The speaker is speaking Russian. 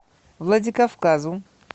владикавказу